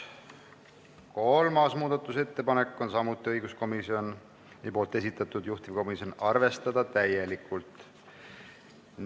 Kolmas muudatusettepanek on samuti õiguskomisjoni esitatud, juhtivkomisjon: arvestada täielikult.